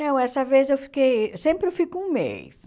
Não, essa vez eu fiquei, sempre eu fico um mês.